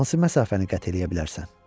Hansı məsafəni qət eləyə bilərsən?